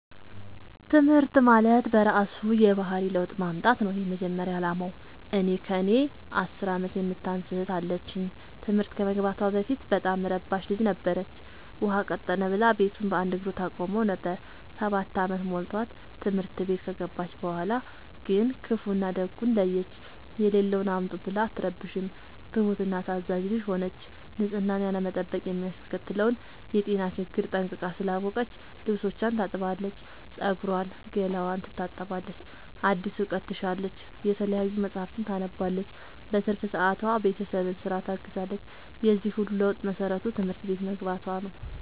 ትምህርት ማለት በእራሱ የባህሪ ለውጥ ማምጣት ነው የመጀመሪያ አላማው። እኔ ከእኔ አስር አመት የምታንስ እህት አለችኝ ትምህርት ከመግባቷ በፊት በጣም እረባሽ ልጅ ነበረች። ውሃ ቀጠነ ብላ ቤቱን በአንድ እግሩ ታቆመው ነበር። ሰባት አመት ሞልቶት ትምህርት ቤት ከገባች በኋላ ግን ክፋውን እና ደጉን ለየች። የሌለውን አምጡ ብላ አትረብሽም ትሁት እና ታዛዣ ልጅ ሆነች ንፅህናን ያለመጠበቅ የሚያስከትለውን የጤና ችግር ጠንቅቃ ስላወቀች ልብስቿን ታጥባለች ፀጉሯን ገላዋን ትታጠባለች አዲስ እውቀት ትሻለች የተለያዩ መፀሀፍትን ታነባለች በትርፍ ሰዓቷ ቤተሰብን ስራ ታግዛለች የዚህ ሁሉ ለውጥ መሰረቱ ትምህርት ቤት መግባቶ ነው።